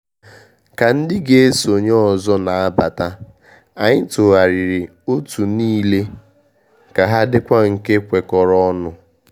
Ka ndị ga eso nye ọzọ na abata, anyị tụgharịrị ótù niile ka ha dịkwa nke kwekọrọ ọnụ.